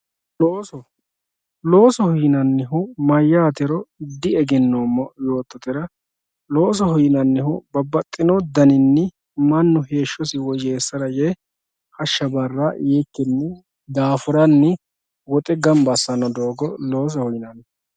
looso loosoho yinannihu maatiro diegennoommo yoottotera, loosoho yinannihu babbaxxino daninni mannu heeshshosi woyyeessara yee hashsha barra yiikkinni daafuranni woxe gamba assanno doogo loosoho yinanni.